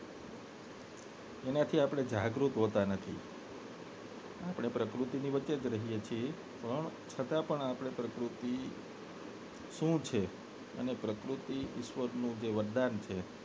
એનાથી આપને જાગૃત હોતા નથી આપને પ્રકૃતિની વચ્ચે જ રહીએ છે પણ છતાં પણ આપને પ્રકૃતિ શું છે પ્રકૃતિ જ ઈશ્વરનું વરદાન છે